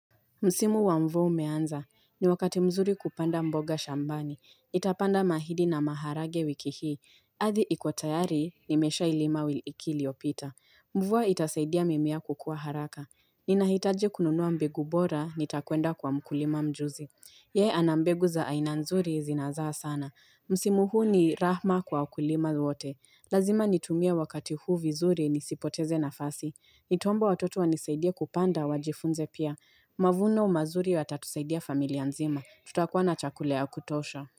Msimu wa mvua umeanza. Ni wakati mzuri kupanda mboga shambani. Nitapanda mahindi na maharage wiki hii. Ardhi ikotayari, nimesha ilima wiki iliopita. Mvua itasaidia mimea kukua haraka. Ninahitaji kununua mbegu bora, nitakuenda kwa mkulima mjuzi. Yee ana mbegu za aina nzuri zinazaa sana. Msimu huu ni rahma kwa wakulima wote. Lazima nitumie wakati huu vizuri nisipoteze nafasi. Nitaomba watoto wanisaidia kupanda wajifunze pia. Mavuno mazuri watatusaidia familia nzima. Tutakuwa na chakula ya kutosha.